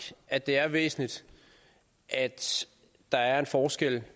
at det er væsentligt at der er en forskel